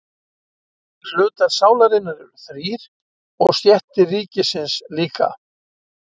Hlutar sálarinnar eru þrír og stéttir ríkisins líka.